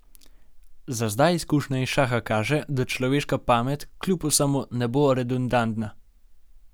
Za zdaj izkušnja iz šaha kaže, da človeška pamet kljub vsemu ne bo redundantna.